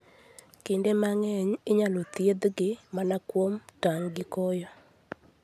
Kinde mang'eny, inyalo thiedhgi mana kuom tang' gi koyo.